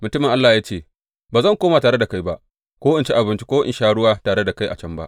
Mutumin Allah ya ce, Ba zan koma tare da kai ba, ko in ci abinci, ko in sha ruwa tare da kai a can ba.